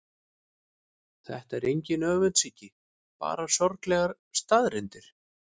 Þetta er engin öfundsýki, bara sorglegar staðreyndir.